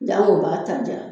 Jank'o b'a ta diya